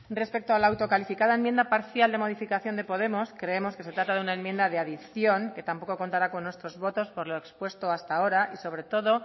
respecto a la autocalificada enmienda parcial de modificación de podemos creemos que se trata de una enmienda de adición que tampoco contará con nuestros votos por lo expuesto hasta ahora y sobre todo